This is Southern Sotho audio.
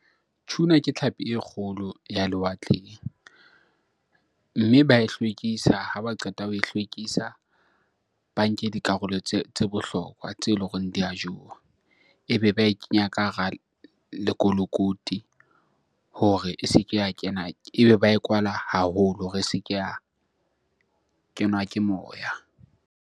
Tuna ke tlhapi e kgolo ya lewatleng. Mme ba e hlwekis, ha ba qeta ho e hlwekisa ba nke dikarolo tse bohlokwa tseo eleng hore di a jowa. Ebe ba e kenya ka hara lekolokoti hore e se ke ya kena, ebe ba e kwala haholo hore e se ke ya kenwa ke moya.